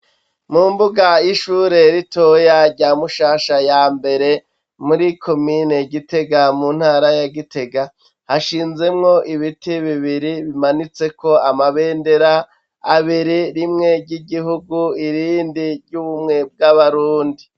Mu mbuga y'ishure ritoya rya Mushasha ya mbere muri komine Gitega mu ntara ya gitega hashinzemwo ibiti bibiri bimanitse ko amabendera abiri rimwe ry'igihugu irindi ry'ubumwe bw'abarundi.